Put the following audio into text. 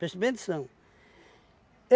Preste bem atenção.